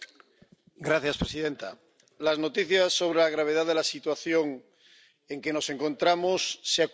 Señora presidenta, las noticias sobre la gravedad de la situación en que nos encontramos se acumulan.